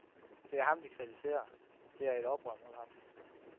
Det er ham, de kritiserer, det er et oprør mod ham.